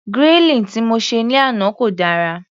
Grilling tí mo se ní àná kò dára.